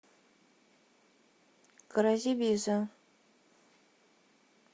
кразибиза